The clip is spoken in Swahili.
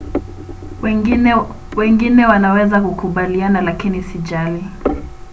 "wengine wanaweza kukubaliana lakini sijali